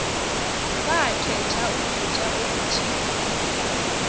bakhetha ukutya okuthile